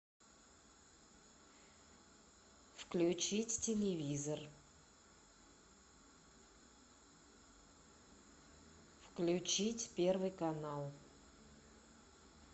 включить телевизор включить первый канал